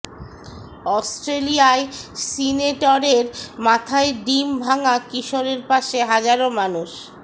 অস্ট্রেলিয়ায় সিনেটরের মাথায় ডিম ভাঙা কিশোরের পাশে হাজারো মানুষ